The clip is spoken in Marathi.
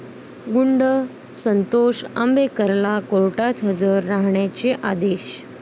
गुंड संतोष आंबेकरला कोर्टात हजर राहण्याचे आदेश